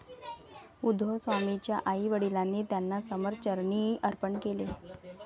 उद्धवस्वामींच्या आई वडिलांनी त्यांना समर्थ चरणी अर्पण केले.